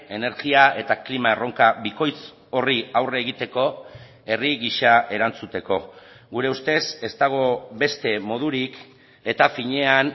energia eta klima erronka bikoitz horri aurre egiteko herri gisa erantzuteko gure ustez ez dago beste modurik eta finean